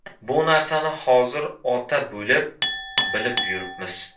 Bu narsani hozir ota bo‘lib, bilib yuribmiz.